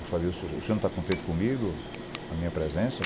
Eu falei, o senhor o senhor não está contente comigo, a minha presença?